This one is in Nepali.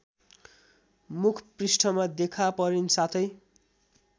मुखपृष्ठमा देखापरिन् साथै